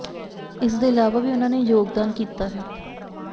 ਇਸ ਦੇ ਇਲਾਵਾ ਵੀ ਉਨ੍ਹਾਂ ਨੇ ਯੋਗਦਾਨ ਕੀਤਾ ਹੈ